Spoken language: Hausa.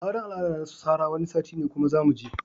Auran al'ada nasu Sarah Wani sati ne kuma zamuje.